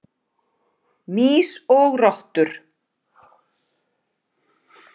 Mýs og rottur.